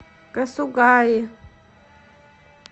касугаи